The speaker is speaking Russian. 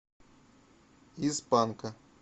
из панка